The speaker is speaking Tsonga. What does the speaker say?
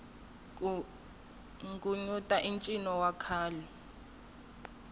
ku nghunyuta i ncino wa khale